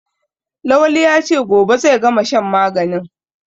Lawali ya ce "gobe zai gama shan maganin"